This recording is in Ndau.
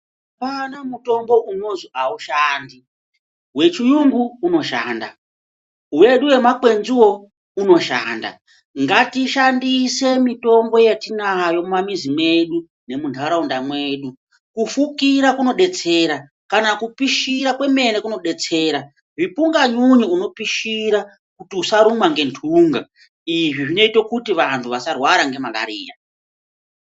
Apana mutombo unozwi aushandi , wechiyungu unoshanda, wedu wemakwenziwo unoshanda, ngatishandise mitombo yatinayo kumamizi kwedu nemunharaunda mwedu , kufukira kunodetsera , kana kupishira kwemene kunodetsera , zvipunganyunyu unopishira kuti usarumwa nge nthunga, izvi zvinoite kuti vantu vasarwara ne marariya.